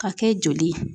Ka kɛ joli ye